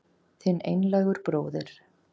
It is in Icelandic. Þinn einlægur bróðir